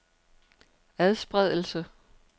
adspredelse